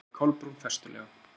svaraði Kolbrún festulega.